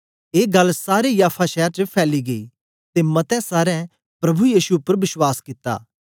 ए गल्ल सारे याफा शैर च फैली गेई ते मते सारें प्रभु यीशु उपर बश्वास कित्ता